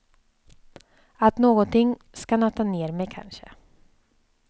Att någonting ska nöta ner mig kanske.